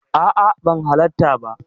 A'a, ban halatta ba.